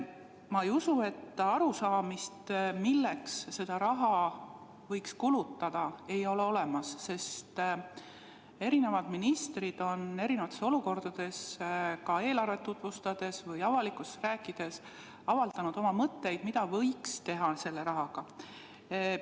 Ma ei usu, et arusaamist, milleks seda raha võiks kulutada, ei ole olemas, sest eri ministrid on erinevates olukordades eelarvet tutvustades või avalikkuses rääkides avaldanud oma mõtteid, mida võiks selle rahaga teha.